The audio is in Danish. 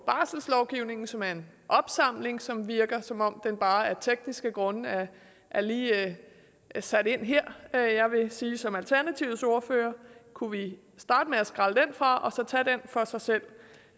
barselslovgivningen som er en opsamling og som virker som om den bare af tekniske grunde lige er sat ind her jeg vil sige som alternativets ordfører at kunne vi starte med at skrælle den fra og så tage den for sig selv